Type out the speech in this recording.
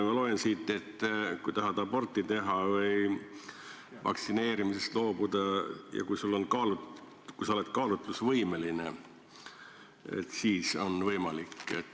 Ma loen siit, et kui tahad aborti teha või vaktsineerimisest loobuda ja kui sa oled kaalutlusvõimeline, siis on see võimalik.